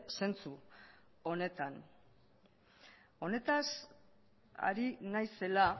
zentzu honetan honetaz ari naizela